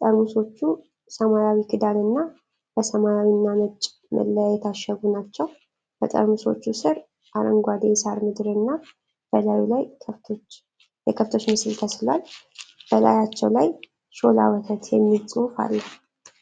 ጠርሙሶቹ ሰማያዊ ክዳንና በሰማያዊና ነጭ መለያ የታሸጉ ናቸው። በጠርሙሶቹ ስር አረንጓዴ የሳር ምድርና በላዩ ላይ የከብቶች ምስል ተስሏል። በላያቸው ላይ "ሾላ ወተት" የሚል ጽሑፍ አለ።